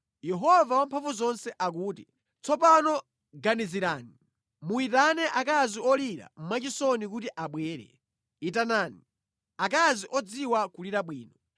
Yehova Wamphamvuzonse akuti, “Tsopano ganizirani! Muyitane akazi olira mwachisoni kuti abwere; itanani akazi odziwa kulira bwino.”